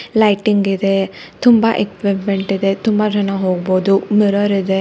Lighting ಇದೆ ತುಂಬಾ equipment ಇದೆ ತುಂಬಾ ಜನ ಹೋಗ್ಬೋದು ಮಿರರ್ ಇದೆ.